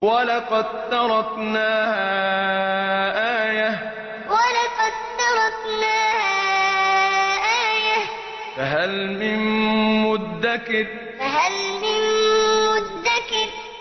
وَلَقَد تَّرَكْنَاهَا آيَةً فَهَلْ مِن مُّدَّكِرٍ وَلَقَد تَّرَكْنَاهَا آيَةً فَهَلْ مِن مُّدَّكِرٍ